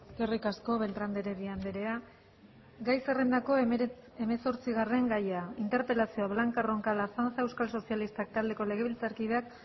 eskerrik asko beltrán de heredia andrea gai zerrendako hemezortzigarren gaia interpelazioa blanca roncal azanza euskal sozialistak taldeko legebiltzarkideak